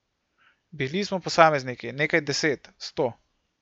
Bili smo posamezniki, nekaj deset, sto.